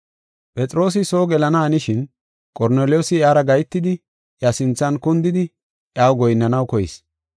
Phexroosi soo gelana hanishin, Qorneliyoosi iyara gahetidi iya sinthan kundidi iyaw goyinnanaw koyis.